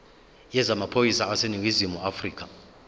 yezamaphoyisa aseningizimu afrika